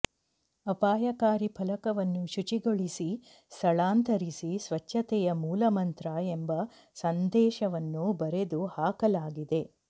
ಅಪಾಯಕಾರಿ ಫಲಕವನ್ನು ಶುಚಿಗೊಳಿಸಿ ಸ್ಥಳಾಂತರಿಸಿ ಸ್ವಚ್ಛತೆಯೇ ಮೂಲಮಂತ್ರ ಎಂಬ ಸಂದೇಶವನ್ನು ಬರೆದು ಹಾಕಲಾಗಿದೆ